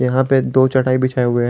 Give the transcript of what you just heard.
यहां पे दो चटाई बिछाए हुए है।